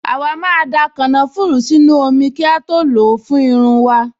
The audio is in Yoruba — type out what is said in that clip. Àwa máa da kànáfùrù sínú omi kí a tó lò ó fún irun wa